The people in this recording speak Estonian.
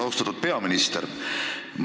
Austatud peaminister!